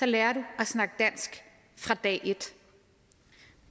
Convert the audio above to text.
lærer du at snakke dansk fra dag et